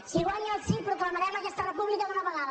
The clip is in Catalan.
si guanya el sí proclamarem aquesta república d’una vegada